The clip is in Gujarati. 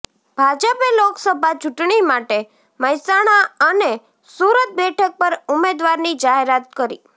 ભાજપે લોકસભા ચૂંટણી માટે મહેસાણા અને સુરત બેઠક પર ઉમેદવારની જાહેરાત કરી